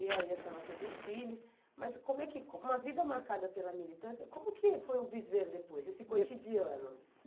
E aí a senhora teve os filhos, mas como é que, com uma vida marcada pela militância, como que foi o viver depois, esse cotidiano?